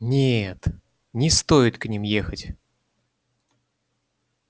нет не стоит к ним ехать